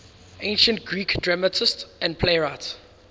ancient greek dramatists and playwrights